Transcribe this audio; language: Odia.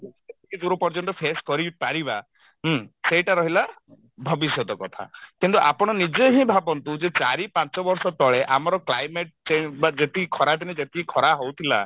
କିଛିଦୂର ପର୍ଯ୍ୟନ୍ତ face କରିପାରିବା ହୁଁ ସେଇଟା ରହିଲା ଭବିଷ୍ୟତ କଥା କିନ୍ତୁ ଆପଣ ନିଜେ ହିଁ ଭାବନ୍ତୁ ଯେ ଚାରି ପାଞ୍ଚ ବର୍ଷ ତଳେ ଆମର climate change ବା ଯେତିକି ଖରାଦିନେ ଯେତିକି ଖରା ହଉଥିଲା